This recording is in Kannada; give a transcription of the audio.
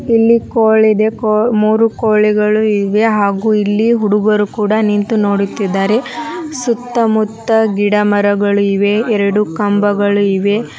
ಇಲ್ಲಿ ಕೋಳ್ ಇದೆ ಕೋಳ್ ಮೂರು ಕೋಳಿಗಳು ಇವೆ ಹಾಗೂ ಇಲ್ಲಿ ಹುಡುಗರು ಕೂಡ ನಿಂತು ನೋಡುತಿದ್ದಾರೆ ಸುತ್ತ ಮುತ್ತ ಗಿಡ ಮರಗಳಿವೆ ಎರಡು ಕಂಬಗಳು ಇವೆ.